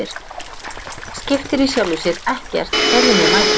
Það skiptir í sjálfu sér ekkert hverjum við mætum.